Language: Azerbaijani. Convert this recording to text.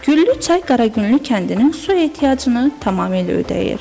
Güllü çay Qaragüllü kəndinin su ehtiyacını tamamilə ödəyir.